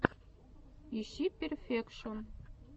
ищи перфекшон